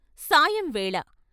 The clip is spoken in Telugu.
సాయంవేళ .